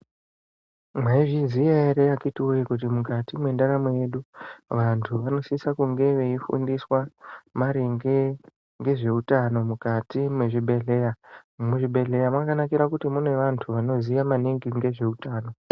Mwaizviziya ere akiti woye kuti mukati mwendaramo yedu vantu vanosisa kunge veifundiswa maringe ngezveutano mukati mwezvibhedhleya muzvibhedhleya mwakanakira kuti mune vantu vanoziya maningi ngezveutano.